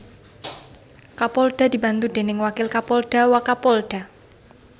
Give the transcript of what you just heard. Kapolda dibantu déning Wakil Kapolda Wakapolda